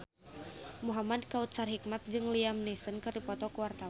Muhamad Kautsar Hikmat jeung Liam Neeson keur dipoto ku wartawan